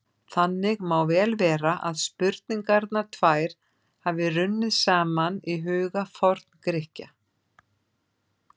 Þannig má vel vera að spurningarnar tvær hafi runnið saman í huga Forngrikkja.